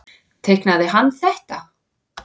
Teiknaði hann þetta?